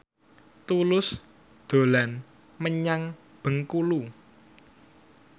Tulus dolan menyang Bengkulu